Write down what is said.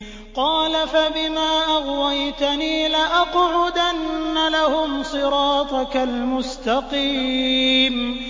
قَالَ فَبِمَا أَغْوَيْتَنِي لَأَقْعُدَنَّ لَهُمْ صِرَاطَكَ الْمُسْتَقِيمَ